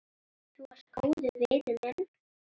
Þú varst góður vinur minn.